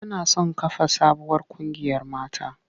Tana son kafa sabuwar ƙungiyar mata.